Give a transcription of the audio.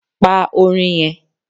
Pa Orin yen